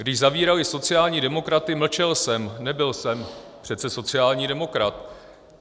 Když zavírali sociální demokraty, mlčel jsem, nebyl jsem přece sociální demokrat.